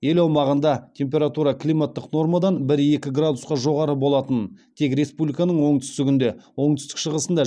ел аумағында температура климаттық нормадан бір екі градусқа жоғары болатынын тек республиканың оңтүстігінде оңтүстік шығысында